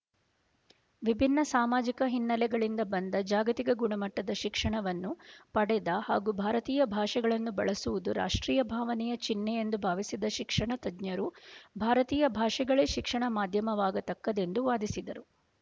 ವಿಭಿನ್ನ ಸಾಮಾಜಿಕ ಹಿನ್ನೆಲೆಗಳಿಂದ ಬಂದ ಜಾಗತಿಕ ಗುಣಮಟ್ಟದ ಶಿಕ್ಷಣವನ್ನು ಪಡೆದ ಹಾಗೂ ಭಾರತೀಯ ಭಾಷೆಗಳನ್ನು ಬಳಸುವುದು ರಾಷ್ಟ್ರೀಯ ಭಾವನೆಯ ಚಿಹ್ನೆಯೆಂದು ಭಾವಿಸಿದ ಶಿಕ್ಷಣತಜ್ಞರು ಭಾರತೀಯ ಭಾಷೆಗಳೇ ಶಿಕ್ಷಣ ಮಾಧ್ಯಮವಾಗತಕ್ಕದ್ದೆಂದು ವಾದಿಸಿದರು